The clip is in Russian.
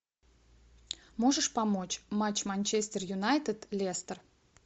можешь помочь матч манчестер юнайтед лестер